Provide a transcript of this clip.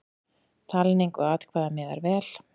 Talningu atkvæða miðar vel.